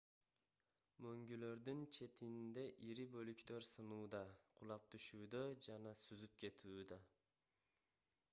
мөңгүлөрдүн четинде ири бөлүктөр сынууда кулап түшүүдө же сүзүп кетүүдө